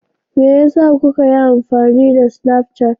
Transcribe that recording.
Me yasa kuka yi amfani da Snapchat?